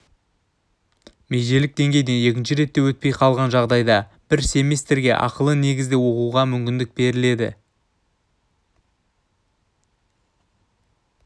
межелік деңгейден екінші ретте де өтпей қалған жағдайда бір семестрге ақылы негізде оқуға мүмкіндік беріледі